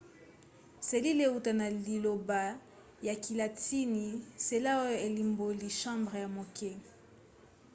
selile euta na liloba ya kilatini cella oyo elimboli chambre ya moke